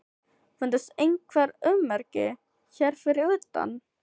Fundust einhver ummerki hér fyrir utan?